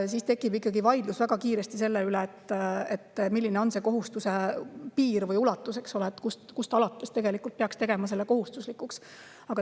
Siis tekib väga kiiresti vaidlus selle üle, milline on selle kohustuse ulatus või piir, kust alates peaks tegema selle kohustuslikuks.